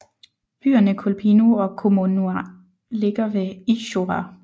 Byerne Kolpino og Kommunar ligger ved Izjora